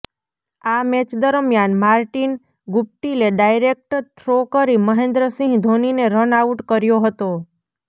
આ મેચ દરમિયાન માર્ટિંન ગુપ્ટિલે ડાયરેક્ટ થ્રો કરી મહેન્દ્ર સિંહ ધોનીને રન આઉટ કર્યો હતો